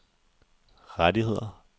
rettigheder